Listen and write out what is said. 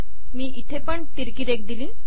मी इथे पण तिरकी रेघ दिली